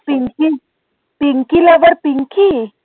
পিঙ্কি পিঙ্কিল আবার পিঙ্কি